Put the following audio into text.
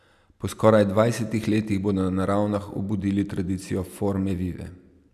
Po skoraj dvajsetih letih bodo na Ravnah obudili tradicijo forme vive.